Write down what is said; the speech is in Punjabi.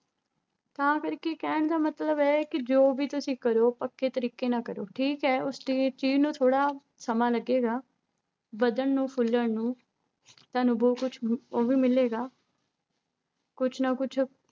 ਤਾਂ ਕਰਕੇ ਕਹਿਣ ਦਾ ਮਤਲਬ ਹੈ ਕਿ ਜੋ ਵੀ ਤੁਸੀਂ ਕਰੋ ਪੱਕੇ ਤਰੀਕੇ ਨਾਲ ਕਰੋ ਠੀਕ ਹੈ ਉਸ ਚੀ ਚੀਜ਼ ਨੂੰ ਥੋੜ੍ਹਾ ਸਮਾਂ ਲੱਗੇਗਾ, ਵੱਧਣ ਨੂੰ ਫੁੱਲਣ ਨੂੰ, ਤੁਹਾਨੂੰ ਬਹੁਤ ਕੁਛ ਉਹ ਵੀ ਮਿਲੇਗਾ ਕੁਛ ਨਾ ਕੁਛ